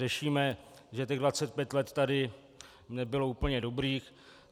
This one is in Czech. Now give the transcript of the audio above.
Řešíme, že těch 25 let tady nebylo úplně dobrých.